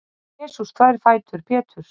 Jesús þvær fætur Péturs.